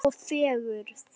Og fegurð.